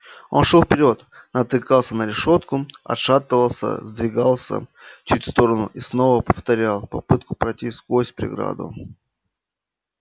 он шёл вперёд натыкался на решётку отшатывался сдвигался чуть в сторону и снова повторял попытку пройти сквозь преграду